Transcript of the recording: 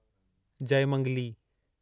Jaymangali